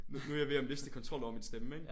Nu nu jeg ved at miste kontrol over min stemme ikke